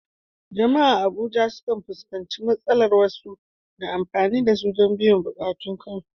Jama’a a Abuja sukan fuskanci matsalar wasu na amfani da su don biyan buƙatun kansu